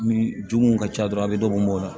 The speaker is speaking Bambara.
Min juguw ka ca dɔrɔn a bɛ dɔ b'o la